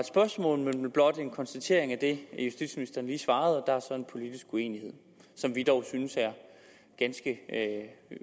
spørgsmål men blot en konstatering af det justitsministeren lige svarede og der er så en politisk uenighed som vi dog synes er ganske